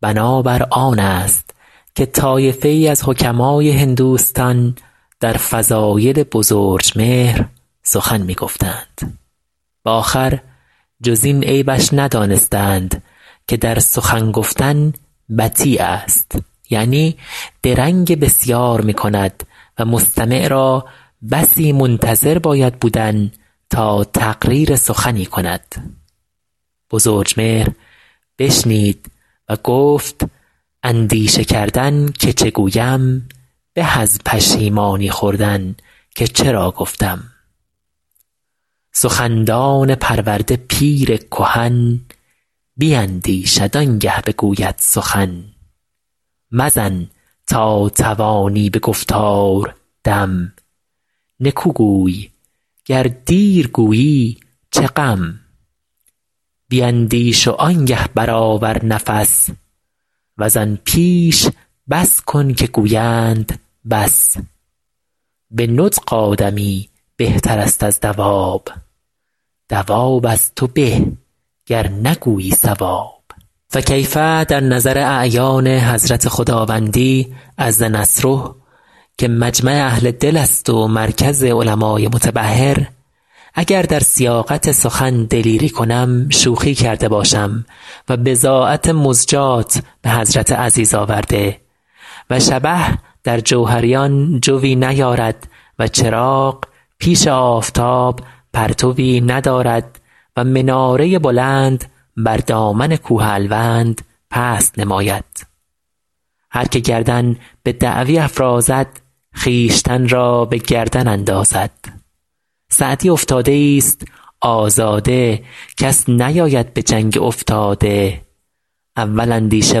بنا بر آن است که طایفه ای از حکماء هندوستان در فضایل بزرجمهر سخن می گفتند به آخر جز این عیبش ندانستند که در سخن گفتن بطی است یعنی درنگ بسیار می کند و مستمع را بسی منتظر باید بودن تا تقریر سخنی کند بزرجمهر بشنید و گفت اندیشه کردن که چه گویم به از پشیمانی خوردن که چرا گفتم سخندان پرورده پیر کهن بیندیشد آن گه بگوید سخن مزن تا توانی به گفتار دم نکو گوی گر دیر گویی چه غم بیندیش وآن گه بر آور نفس وز آن پیش بس کن که گویند بس به نطق آدمی بهتر است از دواب دواب از تو به گر نگویی صواب فکیف در نظر اعیان حضرت خداوندی عز نصره که مجمع اهل دل است و مرکز علمای متبحر اگر در سیاقت سخن دلیری کنم شوخی کرده باشم و بضاعت مزجاة به حضرت عزیز آورده و شبه در جوهریان جویٖ نیارد و چراغ پیش آفتاب پرتوی ندارد و مناره بلند بر دامن کوه الوند پست نماید هر که گردن به دعوی افرازد خویشتن را به گردن اندازد سعدی افتاده ای ست آزاده کس نیاید به جنگ افتاده اول اندیشه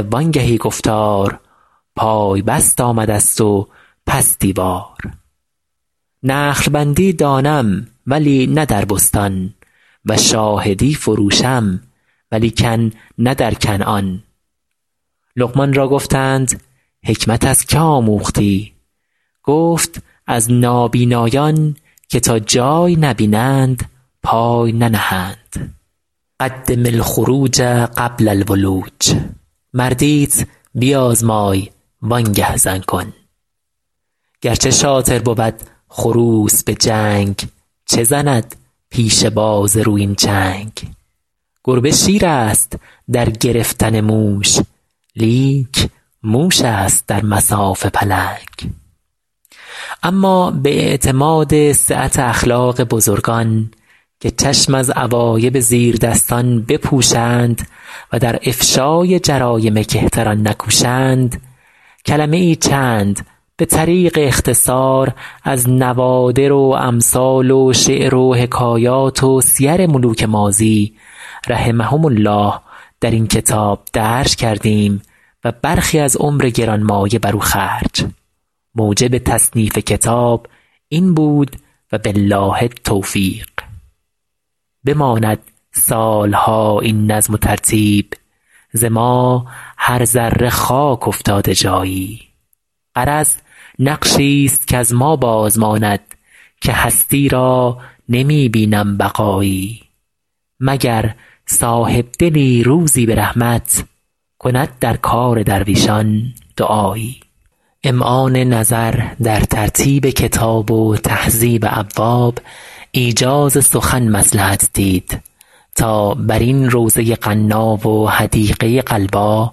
وآن گهی گفتار پای بست آمده ست و پس دیوار نخل بندی دانم ولی نه در بستان و شاهدی فروشم ولیکن نه در کنعان لقمان را گفتند حکمت از که آموختی گفت از نابینایان که تا جای نبینند پای ننهند قدم الخروج قبل الولوج مردیت بیازمای وآن گه زن کن گر چه شاطر بود خروس به جنگ چه زند پیش باز رویین چنگ گربه شیر است در گرفتن موش لیک موش است در مصاف پلنگ اما به اعتماد سعت اخلاق بزرگان که چشم از عوایب زیردستان بپوشند و در افشای جرایم کهتران نکوشند کلمه ای چند به طریق اختصار از نوادر و امثال و شعر و حکایات و سیر ملوک ماضی رحمهم الله در این کتاب درج کردیم و برخی از عمر گرانمایه بر او خرج موجب تصنیف کتاب این بود و بالله التوفیق بماند سال ها این نظم و ترتیب ز ما هر ذره خاک افتاده جایی غرض نقشی ست کز ما باز ماند که هستی را نمی بینم بقایی مگر صاحب دلی روزی به رحمت کند در کار درویشان دعایی امعان نظر در ترتیب کتاب و تهذیب ابواب ایجاز سخن مصلحت دید تا بر این روضه غنا و حدیقه غلبا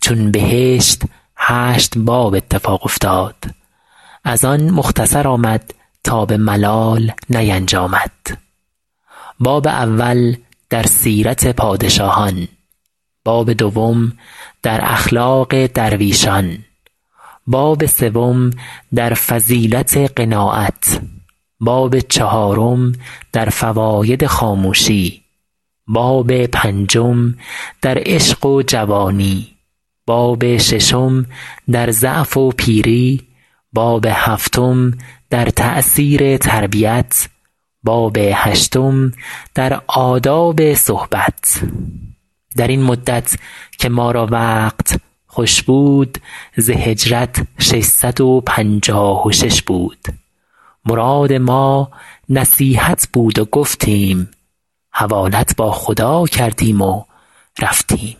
چون بهشت هشت باب اتفاق افتاد از آن مختصر آمد تا به ملال نینجامد باب اول در سیرت پادشاهان باب دوم در اخلاق درویشان باب سوم در فضیلت قناعت باب چهارم در فواید خاموشی باب پنجم در عشق و جوانی باب ششم در ضعف و پیری باب هفتم در تأثیر تربیت باب هشتم در آداب صحبت در این مدت که ما را وقت خوش بود ز هجرت شش صد و پنجاه و شش بود مراد ما نصیحت بود و گفتیم حوالت با خدا کردیم و رفتیم